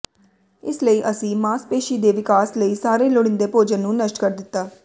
ਇਸ ਲਈ ਅਸੀਂ ਮਾਸਪੇਸ਼ੀ ਦੇ ਵਿਕਾਸ ਲਈ ਸਾਰੇ ਲੋੜੀਂਦੇ ਭੋਜਨ ਨੂੰ ਨਸ਼ਟ ਕਰ ਦਿੱਤਾ